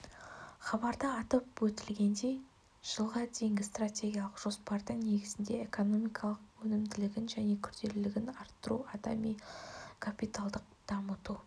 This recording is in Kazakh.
хабарда атап өтілгендей жылға дейінгі стратегиялық жоспардың негізінде экономиканың өнімділігін және күрделілігін арттыру адами капиталды дамыту